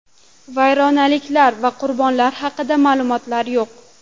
Vayronaliklar va qurbonlar haqida ma’lumotlar yo‘q.